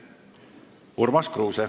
Urmas Kruuse.